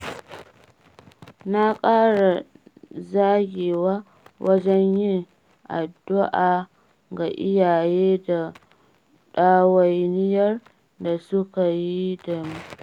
Na ƙara zagewa wajen yin addu'a ga iyaye da ɗawainiyar da suka yi da mu.